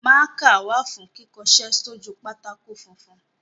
Mákà wà fún kíkọṣẹ́ sójú pátákó funfun.